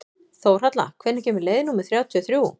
Þórhalla, hvenær kemur leið númer þrjátíu og þrjú?